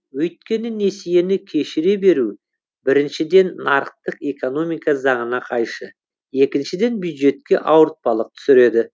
өйткені несиені кешіре беру біріншіден нарықтық экономика заңына қайшы екіншіден бюджетке ауыртпалық түсіреді